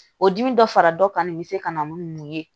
O dimi dɔ fara dɔ kan nin bɛ se ka na ni mun ye